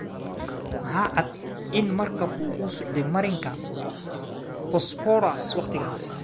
Ma cadda in markabku u socday marinka Bosphorus wakhtigaas.